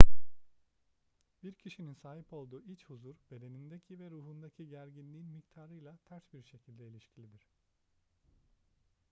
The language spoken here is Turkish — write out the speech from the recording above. bir kişinin sahip olduğu iç huzur bedenindeki ve ruhundaki gerginliğin miktarıyla ters bir şekilde ilişkilidir